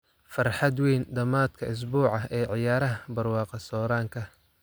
Farxad weyn dhamaadka usbuuca ee Ciyaaraha Barwaaqo-sooranka